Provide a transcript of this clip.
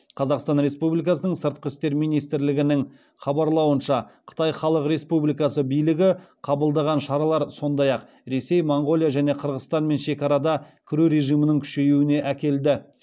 қазақстан республикасының сыртқы істер министрлігінің хабарлауынша қытай халық республикасы билігі қабылдаған шаралар сондай ақ ресей моңғолия және қырғызстанмен шекарада кіру режимінің күшеюіне әкелді